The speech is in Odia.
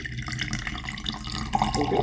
କୋଉଠି?